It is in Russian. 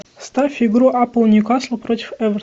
ставь игру апл ньюкасл против эвертона